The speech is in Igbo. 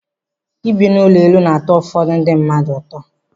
Ịbi n'ụlọ elu na-atọ ụfọdụ ndị mmadụ ụtọ.